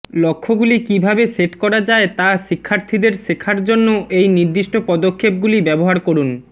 লক্ষ্যগুলি কীভাবে সেট করা যায় তা শিক্ষার্থীদের শেখার জন্য এই নির্দিষ্ট পদক্ষেপগুলি ব্যবহার করুন